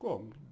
Como?